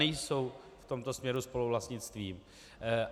Nejsou v tomto směru spoluvlastnictvím.